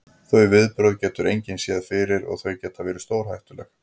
Þau viðbrögð getur engin séð fyrir og þau geta verið stórhættuleg.